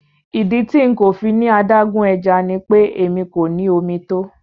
Ìdí tí nkọ̀ fíní adágún ẹ̀já ní pé ẹmi kò ní omi tó.